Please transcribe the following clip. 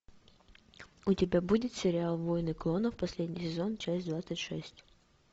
у тебя будет сериал войны клонов последний сезон часть двадцать шесть